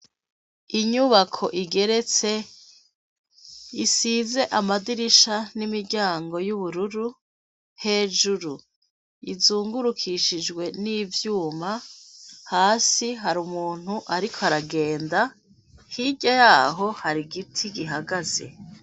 Inyubako igeretse isize amadirisha n'imiryango y'ubururu, hejuru izungurukishijwe n'ivyuma hasi har'umuntu ariko aragenda, hirya yaho har'igiti gihagaze.